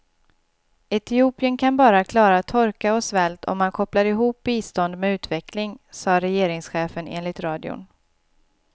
Etiopien kan bara klara torka och svält om man kopplar ihop bistånd med utveckling, sade regeringschefen enligt radion.